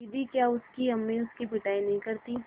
दीदी क्या उसकी अम्मी उसकी पिटाई नहीं करतीं